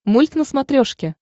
мульт на смотрешке